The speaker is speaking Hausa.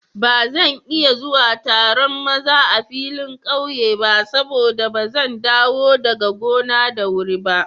Ba zan iya zuwa Taron maza a filin ƙauye ba saboda ba zan dawo daga gona da wuri ba.